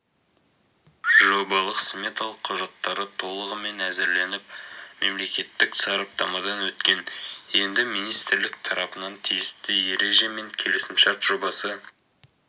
жобалық-сметалық құжаттары толығымен әзірленіп мемлекеттік сараптамадан өткен енді министрлік тарапынан тиісті ереже мен келісімшарт жобасы